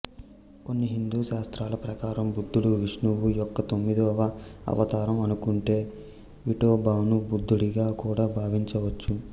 కొన్ని హిందూ శాస్త్రాల ప్రకారం బుద్ధుడు విష్ణువు యొక్క తొమ్మిదవ అవతారం అనుకుంటే విఠోబాను బుద్ధుడిగా కూడా భావించవచ్చు